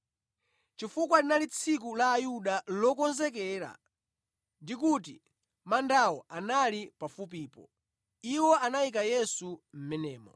Chifukwa linali Tsiku la Ayuda Lokonzekera ndi kuti mandawo anali pafupipo, iwo anayika Yesu mʼmenemo.